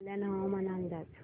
कल्याण हवामान अंदाज